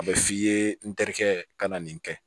A bɛ f'i ye n terikɛ ka na nin kɛ